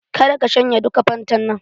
Ka da ka shanye duka fantan nan!